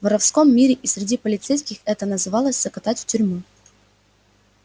в воровском мире и среди полицейских это называлось закатать в тюрьму